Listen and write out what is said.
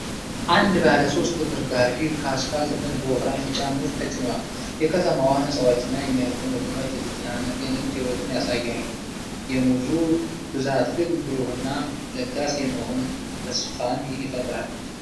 አንድ ባለ ሶስት እግር ጋሪ ከአስፋልት ጎን በወፍራም ቢጫ ሙዝ ተጭኗል። የከተማዋ ህንፃዎችና የሚያልፉ መኪናዎች የተጨናነቀ የንግድ ሕይወትን ያሳያሉ፤ የሙዙ ብዛት ግን ብሩህና ለጋስ የመሆን ተስፋን ይፈጥራል።